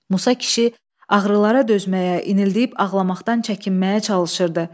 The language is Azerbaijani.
Musa kişi ağrılara dözməyə, inildəyib ağlamaqdan çəkinməyə çalışırdı.